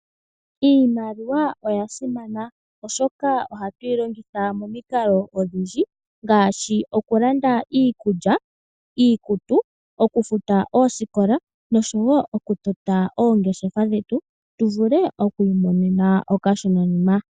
Iimaliwa oya simana oshoka ohatuyi longitha momikalo odhindji, ngaashi okulanda iikulya, iikutu, okufuta oosikola, noshowo okutota oongeshefa dhetu, tuvule okwiimonena iiyemo.